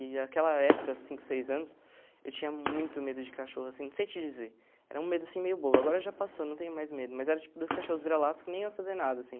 E naquela época, há cinco, seis anos, eu tinha muito medo de cachorro, assim, não sei te dizer, era um medo, assim, meio bobo, agora já passou, não tenho mais medo, mas era tipo dois cachorros vira-latas que nem iam fazer nada, assim.